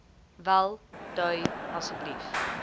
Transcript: wel dui asseblief